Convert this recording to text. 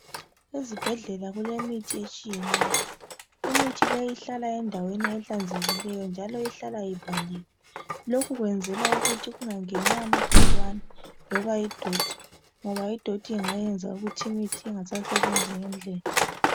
Ezibhedlela kulemithi etshiyeneyo imithi leyi ihlala endaweni ehlanzekileyo, njalo ihlala ivaliwe lokhu kwenzelwa ukuthi kungangeni amagcikwane loba idoti ngoba idoti ingayenza ukuthi imithi ingasasebenzi ngendlela.